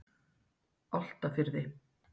Álftafirði